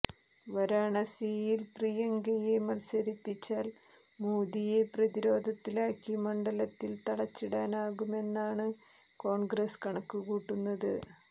വാരാണസിയിൽ പ്രിയങ്കയെ മത്സരിപ്പിച്ചാൽ മോദിയെ പ്രതിരോധത്തിലാക്കി മണ്ഡലത്തിൽ തളച്ചിടാനാകുമെന്നാണ് കോൺഗ്രസ് കണക്കുകൂട്ടുന്നത്